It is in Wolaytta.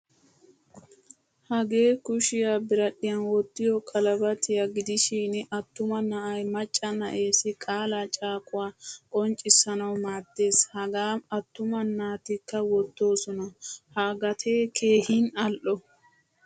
Hagee kushiyaa biradhdhiayn wottiyo qalabariyaa gidishin attuma na'ay macca na'essi qaalaa caaquwaa qonccissanawu maaddees. Hagaa attuma naatikka wottosona. Haa gatee keehin al'o.